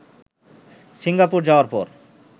Singapore যাওয়ার পর